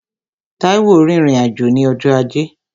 Táíwò rìnrìn-àjò ní ọjọ́ ajé